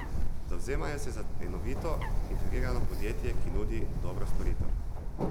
Zavzemajo se za enovito, integrirano podjetje, ki nudi dobro storitev.